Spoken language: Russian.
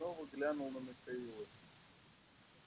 я снова глянул на михаила